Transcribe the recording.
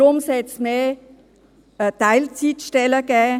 Darum sollte es mehr Teilzeitstellen geben.